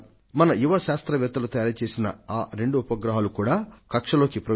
వీటిలో మన విద్యార్థులు నిర్మించిన రెండు ఉపగ్రహాలు కూడా కలసి ఉన్నాయి